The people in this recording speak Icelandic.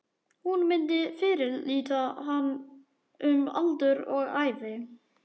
Hún myndi fyrirlíta hann um aldur og ævi!